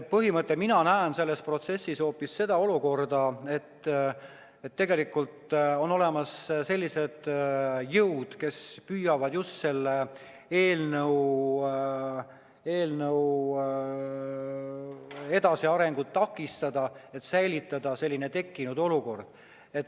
Põhimõtteliselt mina näen selles protsessis hoopis seda olukorda, et tegelikult on olemas jõud, kes püüavad selle eelnõu edasiarengut takistada, et säilitada tekkinud olukord.